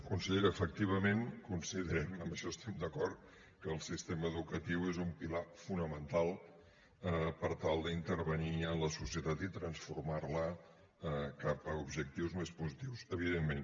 consellera efectivament considerem en això estem d’acord que el sistema educatiu és un pilar fonamental per tal d’intervenir en la societat i transformar la cap a objectius més positius evidentment